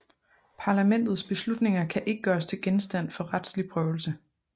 Parlamentets beslutninger kan ikke gøres til genstand for retslig prøvelse